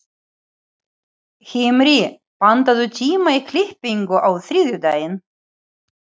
Himri, pantaðu tíma í klippingu á þriðjudaginn.